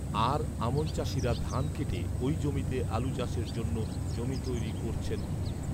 আর আমন চাষিরা ধান কেটে ঐজমিতে আলু চাষের জন্য জমি তৈরি করছেন